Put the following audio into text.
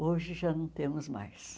Hoje já não temos mais.